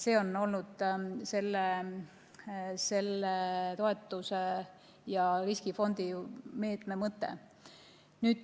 See on olnud selle toetuse ja riskifondi meetme mõte.